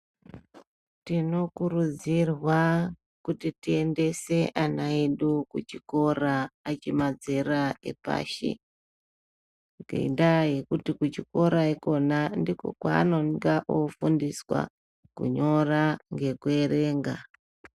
Tinokurudzirwa kuti tiendese ana edu kuchikora achi madzera epashi ngendaa yekuti kuchikora ikona ndiko kwanonga ofundiswa kunyora ngekuerenga.